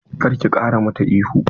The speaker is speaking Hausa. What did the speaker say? Kar ki ƙara mata ihu!